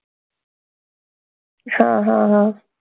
हां हां हां